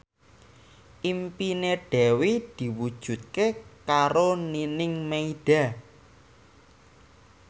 impine Dewi diwujudke karo Nining Meida